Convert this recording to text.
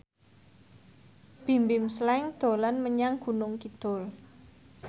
Bimbim Slank dolan menyang Gunung Kidul